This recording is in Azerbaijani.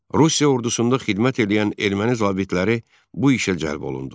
Rusiya ordusunda xidmət eləyən erməni zabitləri bu işə cəlb olundu.